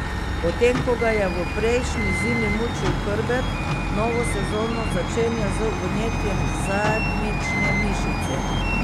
Potem ko ga je v prejšnji zimi mučil hrbet, novo sezono začenja z vnetjem zadnjične mišice.